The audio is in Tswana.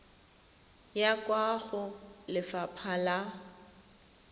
ya kwa go lefapha la